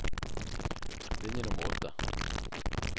Linje nummer åtte